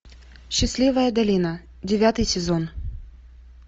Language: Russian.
счастливая долина девятый сезон